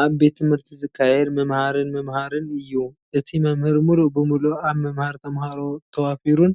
ኣብ ቤት ትምህርቲ ዝካየድ ምምሃርን ምምሃርን እዩ። እቲ መምህር ምሉእ ብምሉእ ኣብ ምምሃር ተምሃሮ ተዋፊሩን